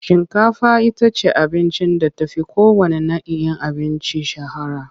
Shinkafa ita ce abincin da ta fi kowanne na'in abinci shahara.